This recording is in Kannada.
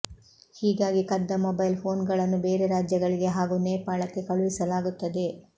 ಹೀಗಾಗಿ ಕದ್ದ ಮೊಬೈಲ್ ಫೋನ್ಗಳನ್ನು ಬೇರೆ ರಾಜ್ಯಗಳಿಗೆ ಹಾಗೂ ನೇಪಾಳಕ್ಕೆ ಕಳುಹಿಸಲಾಗುತ್ತದೆ